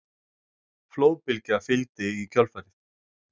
Flóðbylgja fylgdi í kjölfarið